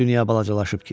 Dünya balacalaşıb ki.